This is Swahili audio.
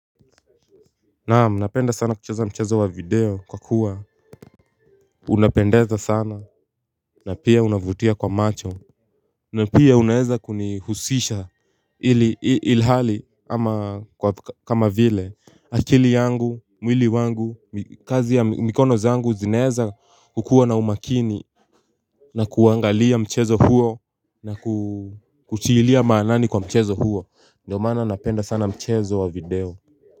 Naam napenda sana kucheza mchezo wa video kwa kuwa unapendeza sana. Na pia unavutia kwa macho. Na pia unaeza kunihusisha ilhali ama kwa kama vile akili yangu mwili wangu kazi ya mikono zangu zinaeza kukua na umakini. Na kuangalia mchezo huo na kutilia maanani kwa mchezo huo ndio maana napenda sana mchezo wa video.